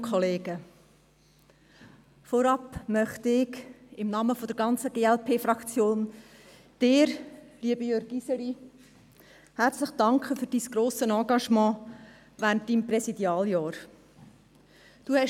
Vorab möchte ich im Namen der ganzen glp Fraktion, Ihnen lieber Jürg Iseli, herzlich danken für Ihr sehr grosses Engagement während Ihres Präsidialjahres.